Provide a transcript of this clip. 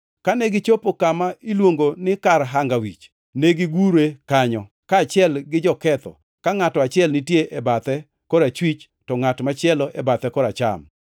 Kane gichopo kama iluongo ni kar Hanga Wich, negigure kanyo, kaachiel gi joketho, ka ngʼato achiel nitie e bathe korachwich, to ngʼat machielo e bathe koracham.